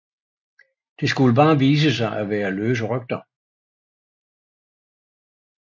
Det skulle bare vise sig at være løse rygter